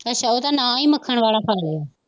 ਅੱਛਾ ਉਹਦਾ ਨਾਂ ਹੀ ਮੱਖਣ ਵਾਲਾ ਫਲ ਹੈ